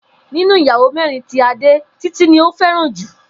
Nínú ìyàwó mé̩rin tí Adé, Títí ni ó fé̩ràn jù